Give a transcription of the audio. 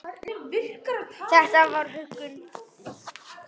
Þetta var huggun.